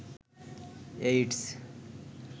AIDS